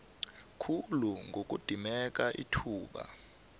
khulu ngokudimeka ithuba